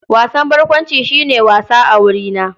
Wasan barkwanci shi ne wasa a wurina.